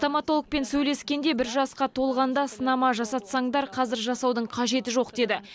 стоматологпен сөйлескенде бір жасқа толғанда сынама жасатсаңдар қазір жасаудың қажеті жоқ деді